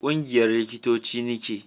ƙungiyar likitoci ni ke